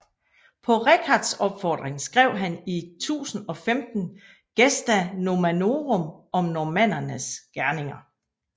På Richards opfordring skrev han i 1015 Gesta Normannorum om normannernes gerninger